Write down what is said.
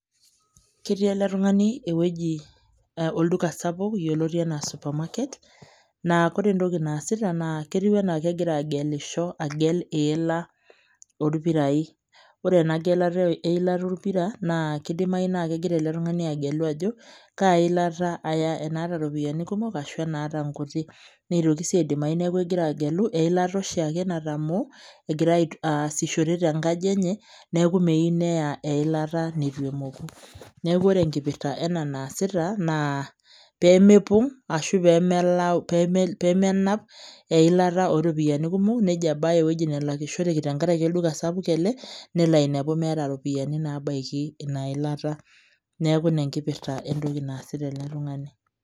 Ketii ele tung'ani ewueji uh olduka sapuk yioloti anaa supermarket naa kore entoki naasita ketiu enaa kegira agelisho agel iila orpirai ore ena gelata eilata orpira naa kidimai naa kegira ele tung'ani agelu ajo kaa ilata aya enaata iropiyiani kumok ashu enaata inkuti neitoki sii aidimai neeku egira agelu eilata oshiake natamoo egira ait aasishore tenkaji enye neeku meiu neya eilata neitu emoku neku ore enkipirta ena naasita naa pemepong ashu pemelau peme pemenap eilata oropiani kumok nejo abaya ewueji nelakishoreki tenkaraki olduka sapuk ele nelo ainepu meeta iropiani nabaiki ina ilata neeku ina enkipirta entoki naasita ele tung'ani.